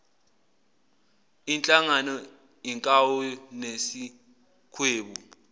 ihlangane inkawu nesikhwebu